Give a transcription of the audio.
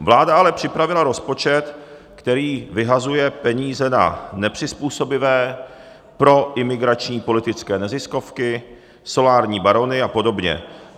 Vláda ale připravila rozpočet, který vyhazuje peníze na nepřizpůsobivé, pro imigrační politické neziskovky, solární barony a podobně.